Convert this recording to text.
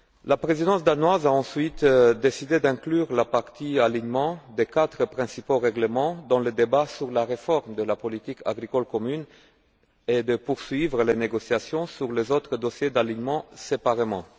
La présidence danoise a ensuite décidé d'inclure la partie alignement des quatre principaux règlements dans le débat sur la réforme de la politique agricole commune et de poursuivre les négociations sur les autres dossiers d'alignement séparément.